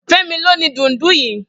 Femi ló ni dúùndù yi